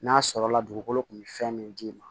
N'a sɔrɔla dugukolo kun bɛ fɛn min d'i ma